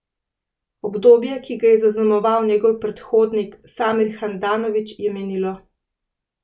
Obdobje, ki ga je zaznamoval njegov predhodnik Samir Handanović, je minilo.